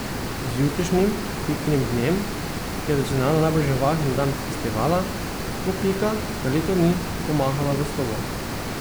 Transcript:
Z jutrišnjim Pikinim dnem, ki je tradicionalno najbolj živahen dan festivala, bo Pika za leto dni pomahala v slovo.